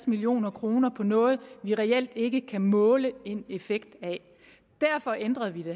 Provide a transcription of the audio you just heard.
million kroner på noget vi reelt ikke kan måle en effekt af derfor ændrede vi